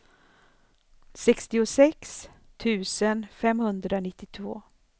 sextiosex tusen femhundranittiotvå